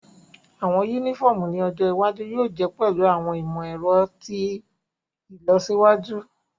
Awọn unifọmu ni ojo iwaju yóò je pẹlu awọn imọ-ẹrọ ti ilọsiwaju.